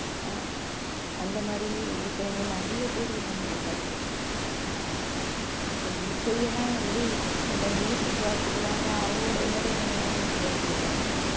ஆஹ் அந்த மாதிரி இருக்கிறவங்க நிறைய பேர் இருக்காங்க உலகத்துல இப்ப இசையெல்லாம் வந்து ஒருத்தவங்க வாசிக்கிறாங்கன்னா அவங்களோட entertainment என்ன வாசிக்கிறதா இருக்கும்